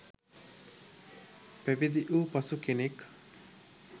පැවිදි වූ පසු කෙනෙක්